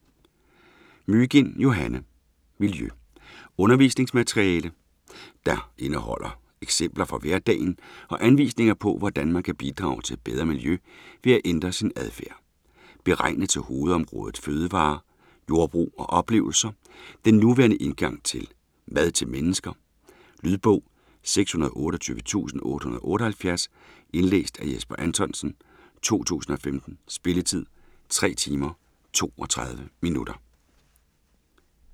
Mygind, Johanne: Miljø Undervisningsmateriale der indeholder eksempler fra hverdagen og anvisninger på, hvordan man kan bidrage til et bedre miljø ved at ændre sin adfærd. Beregnet til hovedområdet Fødevarer, Jordbrug og Oplevelser, den nuværende indgang til "Mad til mennesker". Lydbog 628878 Indlæst af Jesper Anthonsen, 2015. Spilletid: 3 timer, 32 minutter.